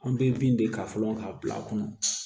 An bɛ bin de ta fɔlɔ k'a bila a kɔnɔ